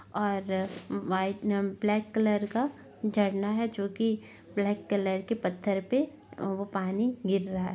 और व्हाइट नम black colour का झरना है जो कि ब्लैक कलर के पत्थर पे उ वो पानी गिर रहा है।